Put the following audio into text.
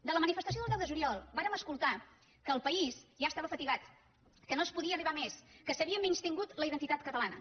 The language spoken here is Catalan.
de la manifestació del deu de juliol vàrem escoltar que el país ja estava fatigat que no es podia arribar a més que s’havia menystingut la identitat catalana